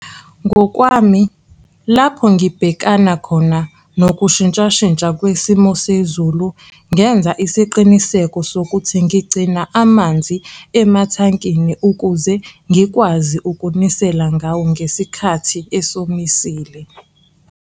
Ngokwami, lapho ngibhekana khona nokushintshashintsha kwesimo sezulu, ngenza isiqiniseko sokuthi ngigcina amanzi emathankini ukuze ngikwazi ukunisela ngawo ngesikhathi esomisile.